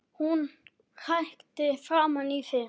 Hún hrækti framan í þig